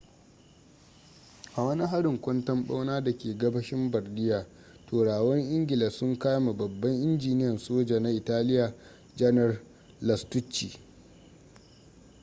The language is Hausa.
a wani harin kwanton-bauna da ke gabashin bardia turawan ingila sun kame babban injiniyan soja na italia janar lastucci